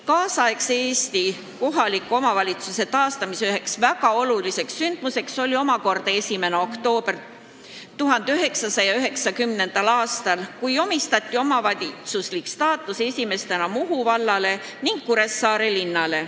Tänapäeva Eesti kohaliku omavalitsuse taastamisel oli üks väga oluline sündmus 1. oktoobril 1990. aastal, kui omavalitsuse staatus anti esimestena Muhu vallale ning Kuressaare linnale.